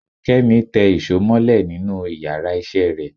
Kemi tẹ́ ìsọ molẹ̀ nínù íyarà iṣẹ re